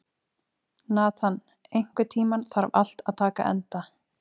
Nathan, einhvern tímann þarf allt að taka enda.